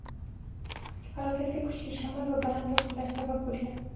Halokatga kuchli shamol va baland to‘lqinlar sabab bo‘lgan.